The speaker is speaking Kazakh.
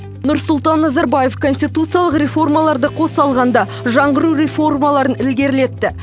нұрсұлтан назарбаев конституциялық реформаларды қоса алғанда жаңғыру реформаларын ілгерілетті